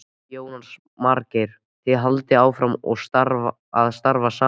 Jónas Margeir: Þið haldið áfram að starfa saman?